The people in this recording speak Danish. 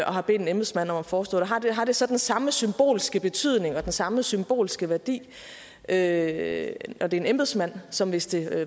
har bedt en embedsmand om at forestå det har det så den samme symbolske betydning og den samme symbolske værdi at det er en embedsmand som hvis det